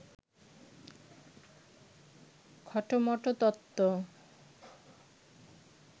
খটোমটো তত্ত্ব